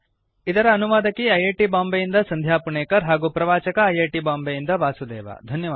httpspoken tutorialorgNMEICT Intro ಇದರ ಅನುವಾದಕಿ I I T ಬಾಂಬೆಯಿಂದ ಸಂಧ್ಯಾ ಪುಣೇಕರ್ ಹಾಗೂ ಪ್ರವಾಚಕ ಐ ಐ ಟಿ ಬಾಂಬೆ ಯಿಂದ ವಾಸುದೇವ